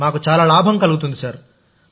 మాకు లాభం కలుగుతుంది సార్